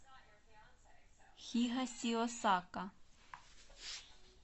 хигасиосака